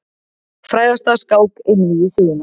Frægasta skák einvígi sögunnar.